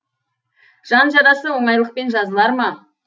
жан жарасы оңайлықпен жазылар ма